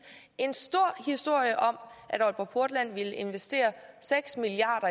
en stor historie om at aalborg portland ville investere seks milliard